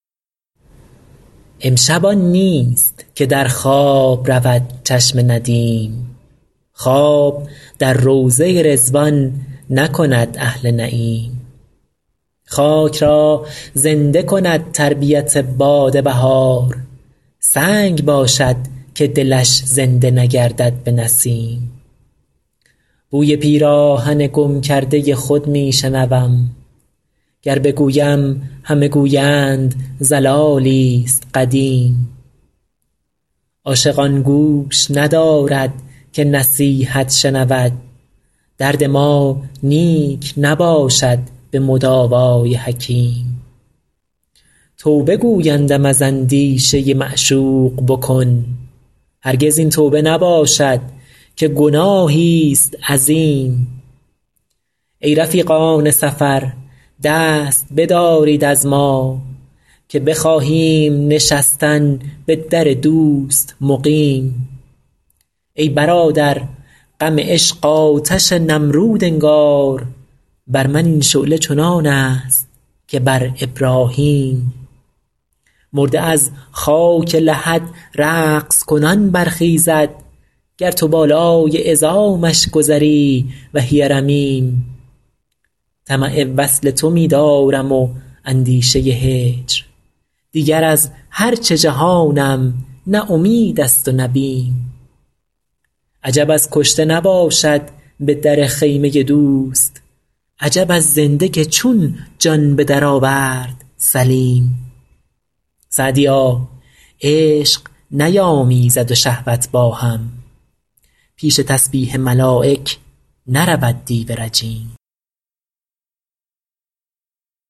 امشب آن نیست که در خواب رود چشم ندیم خواب در روضه رضوان نکند اهل نعیم خاک را زنده کند تربیت باد بهار سنگ باشد که دلش زنده نگردد به نسیم بوی پیراهن گم کرده خود می شنوم گر بگویم همه گویند ضلالی ست قدیم عاشق آن گوش ندارد که نصیحت شنود درد ما نیک نباشد به مداوا ی حکیم توبه گویندم از اندیشه معشوق بکن هرگز این توبه نباشد که گناهی ست عظیم ای رفیقان سفر دست بدارید از ما که بخواهیم نشستن به در دوست مقیم ای برادر غم عشق آتش نمرود انگار بر من این شعله چنان است که بر ابراهیم مرده از خاک لحد رقص کنان برخیزد گر تو بالای عظامش گذری وهی رمیم طمع وصل تو می دارم و اندیشه هجر دیگر از هر چه جهانم نه امید است و نه بیم عجب از کشته نباشد به در خیمه دوست عجب از زنده که چون جان به درآورد سلیم سعدیا عشق نیامیزد و شهوت با هم پیش تسبیح ملایک نرود دیو رجیم